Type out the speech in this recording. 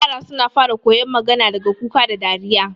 yara suna fara koyon magana daga kuka da dariya